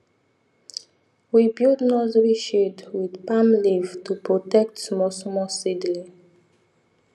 we build nursery shade with palm leaf to protect small small seedling